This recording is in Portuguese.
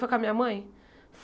Foi com a minha mãe?